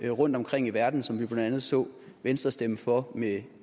rundtomkring i verden som vi blandt andet så venstre stemme for med